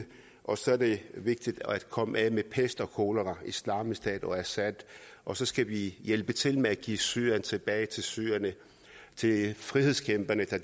og så er det vigtigt at komme af med pest og kolera islamisk stat og assad og så skal vi hjælpe til med at give syrien tilbage til syrerne til frihedskæmperne der